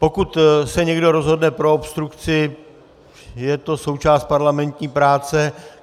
Pokud se někdo rozhodne pro obstrukci, je to součást parlamentní práce.